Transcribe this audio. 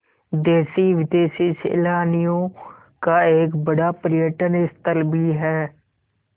देशी विदेशी सैलानियों का एक बड़ा पर्यटन स्थल भी है